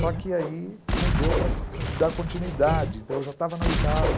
Só que aí não deu para dar continuidade, então eu já estava na oitava.